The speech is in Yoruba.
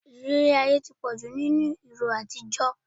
Ìrírí ayé ti pọ̀jù nínú ìròyìn àtijọ́.